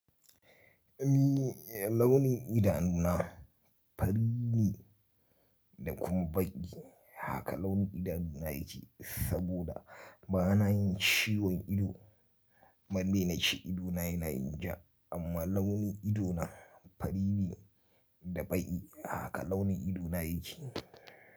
Ni launin idanu na fari ne da kuma baƙi haka launin idanu na yake saboda bana yin ciwon ido. Ban dai na ci ido na yana yin ja amma launin ido na fari ne da baƙi haka launin ido na yake.